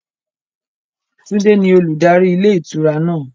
Tunde ni olùdarí ilé ìtura náà.